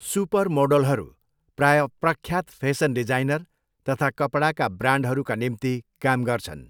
सुपरमोडलहरू प्राय प्रख्यात fashion designer तथा कपडाका ब्रान्डहरूका निम्ति काम गर्छन्।